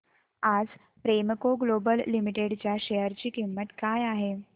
आज Premco global limited च्या share ची किंमत काय आहे